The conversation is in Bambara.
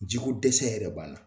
Jiko dɛsɛ yɛrɛ b'an na.